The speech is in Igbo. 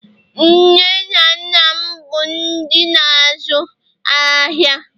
nne na nna m bụ ndị n' azu ahịa